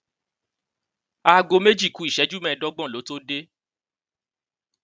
aago méjì ku ìṣẹjú mẹẹẹdọgbọn ló tóó dé